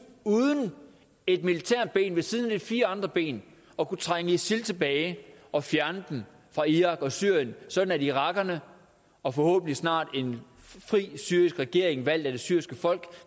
uden et militært ben ved siden af de fire andre ben at kunne trænge isil tilbage og fjerne dem fra irak og syrien sådan at irakerne og forhåbentlig snart en fri syrisk regering valgt af det syriske folk